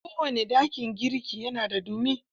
kowane dakin girki na da ɗumi.